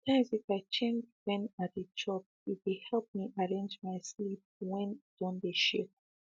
sometimes if i change when i dey chop e dey help me arrange my sleep when e don dey shake